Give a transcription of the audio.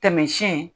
Taamasiyɛn